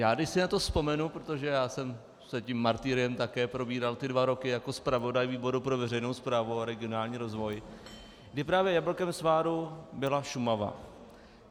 Já, když si na to vzpomenu, protože já jsem se tím martyriem také probíral ty dva roky jako zpravodaj výboru pro veřejnou správu a regionální rozvoj, kdy právě jablkem sváru byla Šumava.